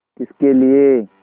किसके लिए